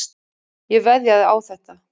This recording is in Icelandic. Ég veðjaði á þetta.